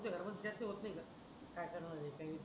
तुमच्या घरमात विचार होत नाही काय करणार काही विचार